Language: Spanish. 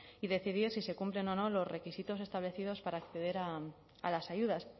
y decidir si se cumplen o no los requisitos establecidos para acceder a las ayudas